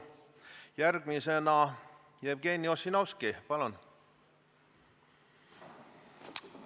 Järgmisena Jevgeni Ossinovski, palun!